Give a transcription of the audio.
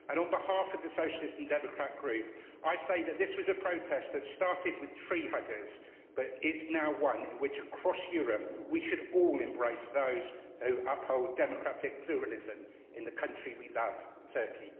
On behalf of the Socialist and Democrat Group, I say that this was a protest that started with tree huggers but is now one in which, across Europe, we should all embrace those who uphold democratic pluralism in the country we love, Turkey.